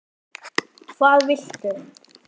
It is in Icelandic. hvað viltu?